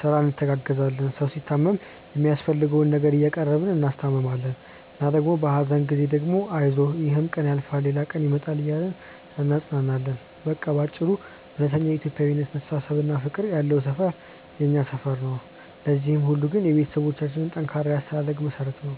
ስራ እንተጋገዛለን። ሰው ሲታመም የሚያስፈልገውን ነገር እያቀረብን እናስታምማለን እና ደግሞ በሀዘን ጊዜ ደግሞ አይዞህ ይሕም ቀን ያልፋል ሌላ ደግ ቀን ይመጣል እያልን እናጽናናለን። በቃ በአጭሩ እውነተኛው የኢትዮጵያዊነት መተሳሰብና ፍቅር ያለው ሰፈር ነው የኛ ሰፈር። ለዚህ ሁሉ ግን የቤተሰቦቻችን ጠንካራ የአስተዳደግ መሠረት ነው።